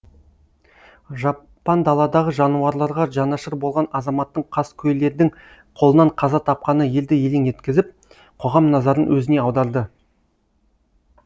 жапан даладағы жануарларға жанашыр болған азаматтың қаскөйлердің қолынан қаза тапқаны елді елең еткізіп қоғам назарын өзіне аударды